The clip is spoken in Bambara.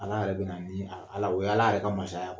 Ala yɛrɛ bɛna ni o ye Ala yɛrɛ ka masaya